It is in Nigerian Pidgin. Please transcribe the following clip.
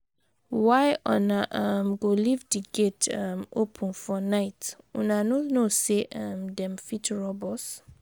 Why una um go leave di gate um open for night, una no know sey um dem fit rob us?